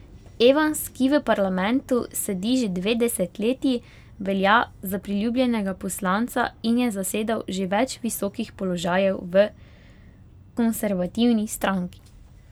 Evans, ki v parlamentu sedi že dve desetletji, velja za priljubljenega poslanca in je zasedal že več visokih položajev v konservativni stranki.